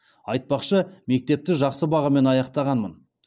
айтпақшы мектепті жақсы бағамен аяқтағанмын